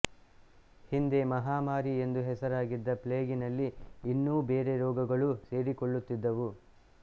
ಹಿಂದೆ ಮಹಾಮಾರಿ ಎಂದು ಹೆಸರಾಗಿದ್ದ ಪ್ಲೇಗಿನಲ್ಲಿ ಇನ್ನೂ ಬೇರೆ ರೋಗಗಳೂ ಸೇರಿಕೊಳ್ಳುತ್ತಿದ್ದುವು